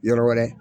Yɔrɔ wɛrɛ